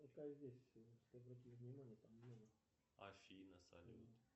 афина салют